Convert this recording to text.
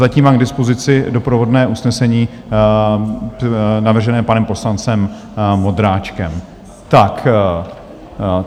Zatím mám k dispozici doprovodné usnesení navržené panem poslancem Vondráčkem.